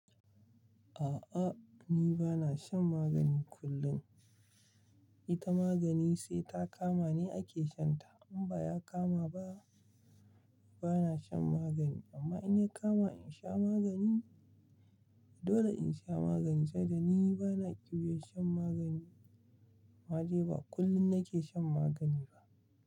A'a, ni bana shan magani kullum. Ita magani sai ta kama ne ake shan ta. In ba ya kama ba, bana shan magani. Amma in ya kama in sha magani, dole in sha maganin, sai da ni bana ƙyiwar shan magani. Ma je ba kullum nake shan magani ba.